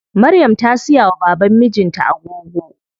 Maryam ta siya wa baban mijin ta agogo.